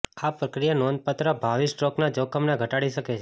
આ પ્રક્રિયા નોંધપાત્ર ભાવિ સ્ટ્રોકના જોખમને ઘટાડી શકે છે